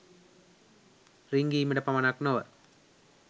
රිංගීමට පමණක් නොව